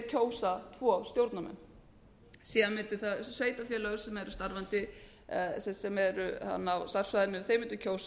kjósa tvo stjórnarmenn síðan mundu þau sveitarfélög sem eru starfandi sem eru á starfssvæðinu þau mundu kjósa